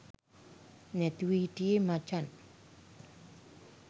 නැතුව හිටියේ මචන්.